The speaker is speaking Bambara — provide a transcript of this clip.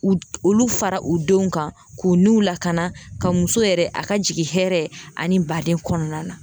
U d olu fara u denw kan k'u niw lakana ka muso yɛrɛ a ka jigi hɛrɛ ani baden kɔɔna na.